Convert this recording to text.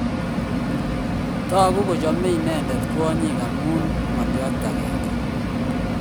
Toku kochomei inendet kwonyik amu ngolyo agenge